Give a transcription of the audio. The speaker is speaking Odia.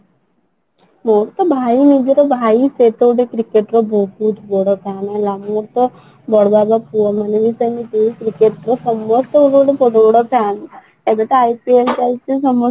ମୋର ତ ଭାଇ ନିଜର ଭାଇ cricket ର ବହୁତ ବଡ fan ହେଲା ମୁଁ ତ ବଡ ପୁଅ ମାନେ ସବୁ cricket ର ସମସ୍ତେ ଗୋଟେ ଗୋଟେ ବହୁତ ବଡ fan ଏବେ ତା IPL ଚାଲିଛି